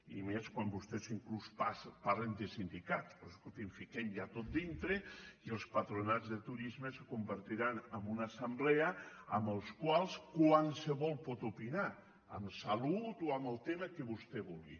i més quan vostès inclús parlen de sindicats doncs escol·tin fiquem·ho ja tot dintre i els patronats de turisme es convertiran en una assemblea en la qual qualsevol pot opinar en salut o en el tema que vostè vulgui